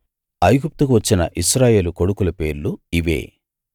ఐగుప్తుకు వచ్చిన ఇశ్రాయేలు కొడుకుల పేర్లు ఇవే